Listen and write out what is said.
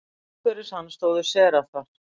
Umhverfis hann stóðu serafar.